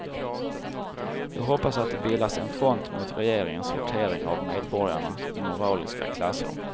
Jag hoppas att det bildas en front mot regeringens sortering av medborgarna i moraliska klasser.